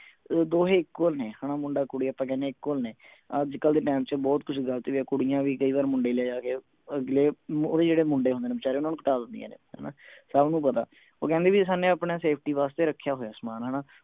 ਦੋਹੇ ਇੱਕੋ ਨੇ ਹਣਾ ਮੁੰਡਾ ਕੁੜੀ ਆਪਾਂ ਕਹਿਣੇ ਇੱਕੋ ਨੇ ਅੱਜਕਲ ਦੇ ਟੈਮ ਚ ਬਹੁਤ ਕੁਛ ਗਲਤ ਹੈ ਕੁੜੀਆਂ ਵੀ ਕਈ ਵਾਰ ਮੁੰਡੇ ਲੈ ਜਾ ਕੇ ਅਗਲੇ ਓਹਦੇ ਜਿਹੜੇ ਮੁੰਡੇ ਹੁੰਦੇ ਨੇ ਵਿਚਾਰੇ ਓਹਨਾ ਨੂੰ ਕੁਟਾ ਦਿੰਦਿਆਂ ਨੇ ਹਣਾ ਸਭ ਨੂੰ ਪਤਾ ਹਣਾ ਉਹ ਕਹਿੰਦੇ ਵੀ ਸਭ ਨੇ ਆਪਣੇ safety ਵਾਸਤੇ ਰਖਿਆ ਹੋਇਆ ਸਮਾਨ ਹਣਾ